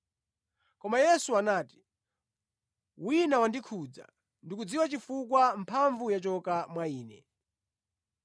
Koma Yesu anati, “Wina wandikhudza; ndikudziwa chifukwa mphamvu yachoka mwa Ine.”